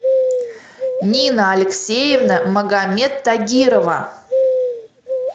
нина алексеевна магомед тагирова